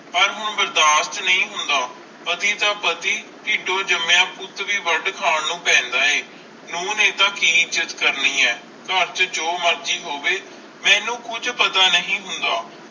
ਪਰ ਹੁਣ ਬਰਦਾਸ਼ਤ ਨਹੀਂ ਹੋਂਦ ਪਤੀ ਤਾ ਪਤੀ ਟਿਡ ਤੋਂ ਜੰਮਿਆ ਪੁੱਤ ਵੀ ਵਡ ਖਾਨ ਨੂੰ ਪੈਂਦਾ ਏ। ਨੂੰ ਨੇ ਕਿ ਇਜ੍ਜਤ ਕਰਨੀ ਆ ਕਰ ਚ ਜੋ ਮਰਜ਼ੀ ਹੋਵੇ ਮੇਨੂ ਕੁਜ ਪਤਾ ਨਹੀਂ ਹੁੰਦਾਂ।